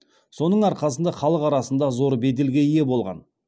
соның арқасында халық арасында зор беделге ие болған